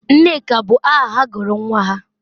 Nneka bụ aha ha gụrụ nwa ha?